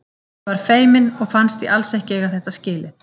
Ég var feimin og fannst ég alls ekki eiga þetta skilið.